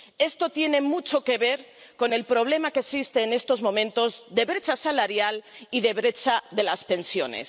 Esto tiene mucho que ver con el problema que existe, en estos momentos, de brecha salarial y de brecha de las pensiones.